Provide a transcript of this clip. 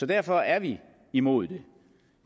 derfor er vi imod det